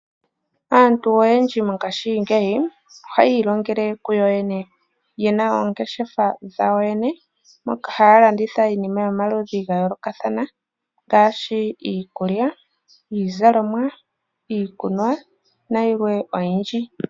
Aantu oyendji mongashingeyi ohaya ilongele kuyo yene. Yena oongeshefa dhawo yene. Moka haya landitha iinima yomaludhi ga yoolokathana ngaashi iikulya, iizalomwa iikunwa nayilwe oyindji.